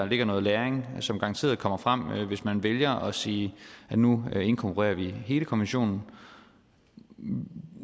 ligger noget læring som garanteret kommer frem hvis man vælger at sige at nu inkorporerer vi hele konventionen